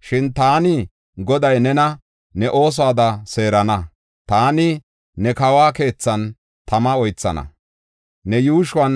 Shin, “Taani Goday nena ne oosuwada seerana. Taani ne kawo keethan tama oythana; ne yuushuwan